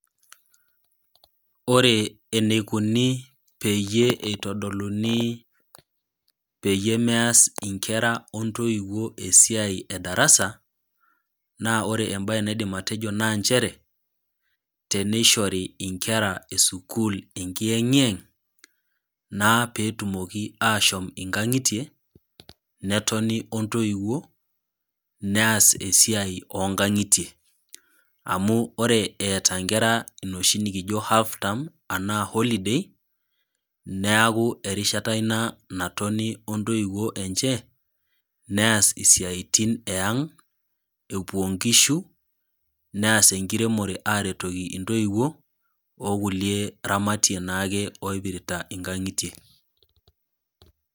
Ore eneikuni peyie eitodoluni peyie meas inkera o intoiwuo esiai e darasa, naa ore embae naidim atejo naa nchere, tenneishori inkera e sukuul enkiyeng'yeng', naa peetum ashom inkang'itie, netoni o intoiwuo, neas esiai o inkang'itie. Amu ore eata inkera enoshi nekijo half term, anaa holy day, neaku erishata ina natoni o intoiwuo enche, neas isiaitin e ang', epuo inkishu, neas enkiremore aretoki intoiwuo, o kulie ramatie naake oipirita inkang'itie.